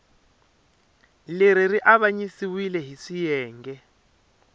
leri ri avanyisiwile hi swiyenge